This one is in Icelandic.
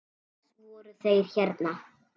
Til þess voru þeir hérna.